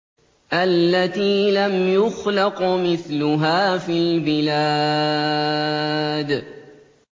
الَّتِي لَمْ يُخْلَقْ مِثْلُهَا فِي الْبِلَادِ